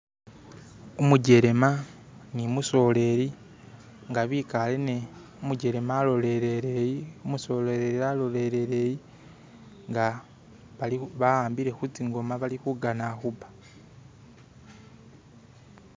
Umujelema nu musoleli ngabikale ne umujelema alolele yi umusoleli alolele yi nga bali bakhambile khutsingoma bakhana khuba